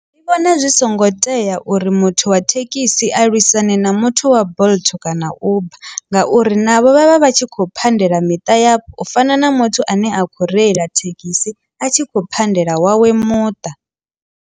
Ndi vhona zwi songo tea uri muthu wa thekhisi a lwisane na muthu wa bolt kana uber ngauri navho vhavha vhatshi kho pandela miṱa ya u fana na muthu ane a kho reila thekhisi a tshi khou pandela wawe muṱa.